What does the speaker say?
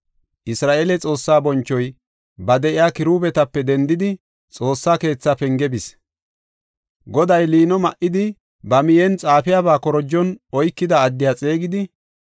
Isra7eele Xoossaa bonchoy ba de7iya kiruubetape dendidi, Xoossaa keetha penge bis. Goday liino ma7idi, ba miyen xaafiyabaa korojon oykida addiya xeegidi,